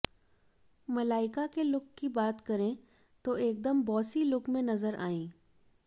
मलाइका के लुक की बात करे तो एकदम बॉसी लुक में नजर आईं